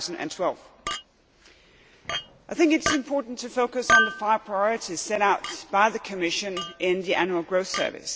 2012. I think it is important to focus on the five priorities set out by the Commission in the Annual Growth Survey.